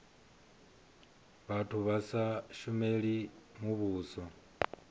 vhathu vha sa shumeli muvhuso